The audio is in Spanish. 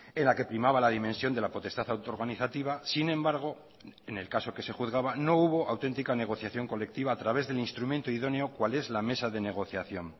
en la que primaba la dimensión de la potestad auto organizativa sin embargo en el caso que se juzgaba no hubo auténtica negociación colectiva a través del instrumento idóneo cual es la mesa de negociación